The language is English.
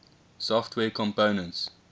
software components